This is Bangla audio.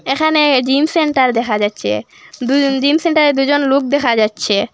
এখানে জিম সেন্টার দেখা যাচ্ছে দু জিম সেন্টারে দুজন লুক দেখা যাচ্ছে।